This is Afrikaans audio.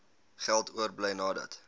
geld oorbly nadat